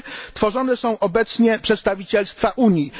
Tworzone są obecnie przedstawicielstwa Unii.